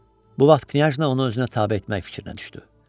Bu vaxt Knyazna onu özünə tabe etmək fikrinə düşdü.